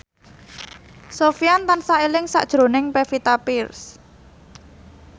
Sofyan tansah eling sakjroning Pevita Pearce